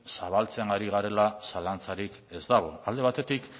zabaltzen ari garela zalantzarik ez dago alde batetik